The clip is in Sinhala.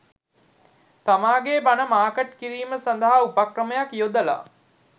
තමන්ගේ බණ මාකට් කිරීම සඳහා උපක්‍රමයක් යොදලා.